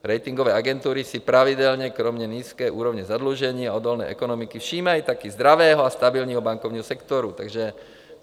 Ratingové agentury si pravidelně kromě nízké úrovně zadlužení a odolné ekonomiky všímají také zdravého a stabilního bankovního sektoru.